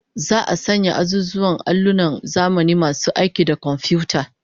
Za'a sanya wa azuzuwan allunan zamani masu aiki da komfiyuta?